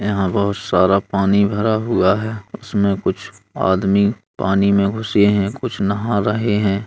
यहाँ बहोत सारा पानी भरा हुआ है। उसमें कुछ आदमी पानी में घुसे हैं कुछ नहा रहे हैं।